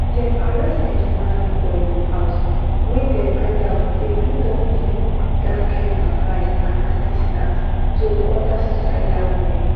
dem arrest mcinally for im house wia dem find out say e don give dat kain advice and assistance to oda suicidal women